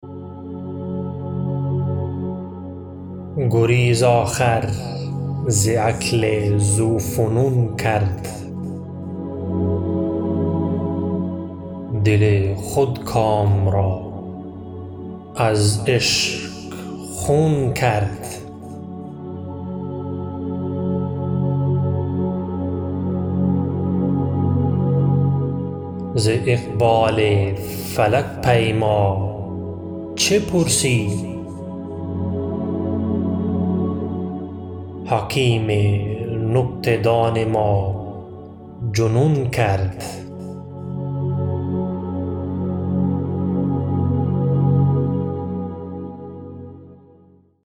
گریز آخر ز عقل ذوفنون کرد دل خودکام را از عشق خون کرد ز اقبال فلک پیما چه پرسی حکیم نکته دان ما جنون کرد